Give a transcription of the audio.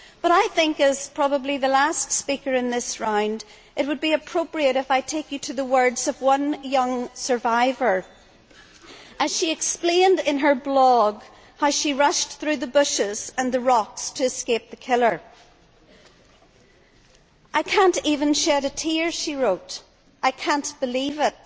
I think, as probably the last speaker in this round, it would be appropriate if I take you to the words of one young survivor, who explained in her blog how she rushed through the bushes and the rocks to escape the killer I can't even shed a tear', she wrote, I can't believe it.